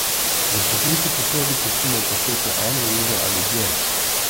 V pokriti posodi pustimo pašteto eno uro ali dlje.